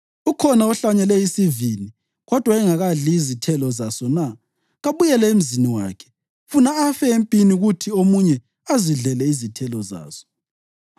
Ukhona ohlanyele isivini kodwa engakadli izithelo zaso na? Kabuyele emzini wakhe, funa afe empini kuthi omunye azidlele izithelo zaso.